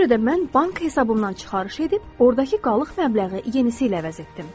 Ona görə də mən bank hesabımdan çıxarış edib, ordakı qalıq məbləği yenisi ilə əvəz etdim.